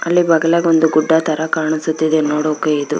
ಅಲ್ಲಿ ಬಗಲಗೆ ಒಂದು ಗುಡ್ಡ ತರ ಕಾಣುಸುತ್ತಿದೆ ನೋಡೋಕೆ ಇದು